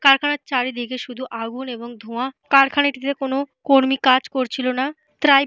কারখানার চারিদিকে শুধু আগুন এবং ধোঁয়া। কারখানাটিতে কোনো কর্মী কাজ করছিলনা। ট্রাই--